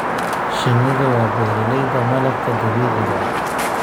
Shinnidu waa beeralayda malabka dabiiciga ah.